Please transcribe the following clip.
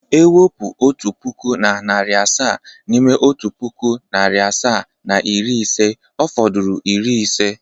E wepu otu puku na na narị asaa n’ime otu puku, narị asaa na iri ise, ọ fodụrụ iri ise.